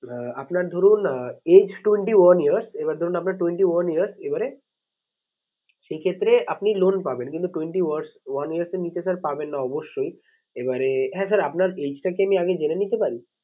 আহ আপনার ধরুন আহ age twenty one years এবার ধরুন আপনার twenty one years এবারে সেক্ষেত্রে আপনি loan পাবেন। কিন্তু twenty one years এর নিচে sir পাবেন না অবশ্যই। এবারে হ্যাঁ sir আপনার age টা কি আমি আগে জেনে নিতে পারি?